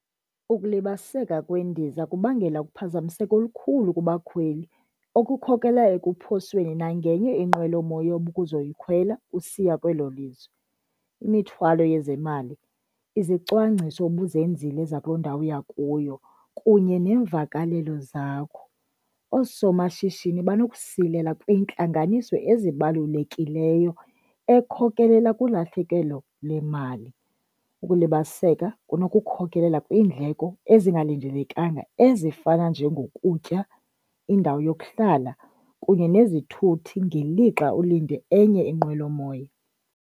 Ukulibaziseka kwendiza kubangela ukuphazamiseko olukhulu kubakhweli okukhokelela ekuphosweni nangenye inqwelomoya obukuzoyikhwela usiya kwelo lizwe. Imithwalo yezemali, izicwangciso obuzenzile zakuloo ndawo uya kuyo kunye neemvakalelo zakho. Oosomashishini banokusilela kwiintlanganiso ezibalulekileyo ekhokelela kulahlekelo lwemali. Ukulibaziseka kunokukhokelela kwiindleko ezingalindelekanga ezifana njengokutya, indawo yokuhlala kunye nezithuthi ngelixa ulinde enye inqwelomoya.